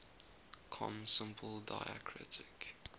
com simple diacritic